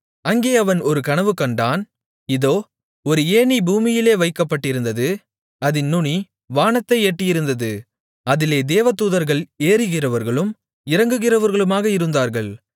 அங்கே அவன் ஒரு கனவுகண்டான் இதோ ஒரு ஏணி பூமியிலே வைக்கப்பட்டிருந்தது அதின் நுனி வானத்தை எட்டியிருந்தது அதிலே தேவதூதர்கள் ஏறுகிறவர்களும் இறங்குகிறவர்களுமாக இருந்தார்கள்